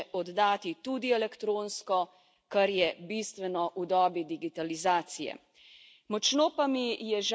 Vlogo bo po novem mogoče oddati tudi elektronsko, kar je bistveno v dobi digitalizacije.